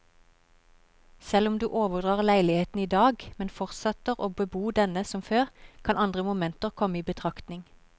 Selv om du overdrar leiligheten i dag, men fortsetter å bebo denne som før, kan andre momenter komme i betraktning.